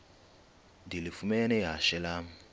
ndilifumene ihashe lam